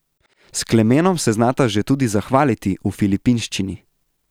S Klemenom se znata že tudi zahvaliti v filipinščini.